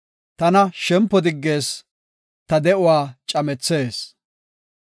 Tana shempo diggees; ta de7uwa camethees.